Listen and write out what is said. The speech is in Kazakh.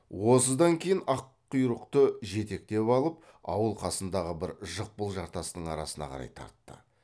осыдан кейін аққұйрықты жетектеп алып ауыл қасындағы бір жықпыл жартастың арасына қарай тартты